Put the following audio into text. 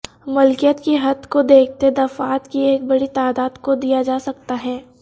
ملکیت کی حد کو دیکھتے دفعات کی ایک بڑی تعداد کو دیا جا سکتا ہے